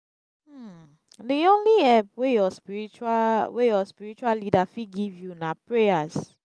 di only help wey your spiritual wey your spiritual leader fit give you na prayers.